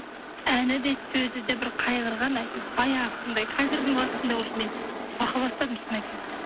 әні де сөзі де бір қайғырған әйтеуір баяғынсындай қазірдің уақытында уже мен қорқа бастадым шын айтсам